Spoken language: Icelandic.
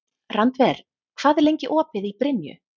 Randver, hvað er lengi opið í Brynju?